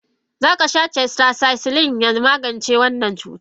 Zakasha tetracycline ya magance wannan cutan.